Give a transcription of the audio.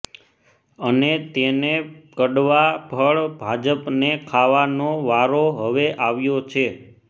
અને તેને કડવા ફળ ભાજપને ખાવાનો વારો હવે આવ્યો છે